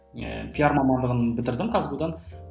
ыыы пиар мамандығын бітірдім қазгу дан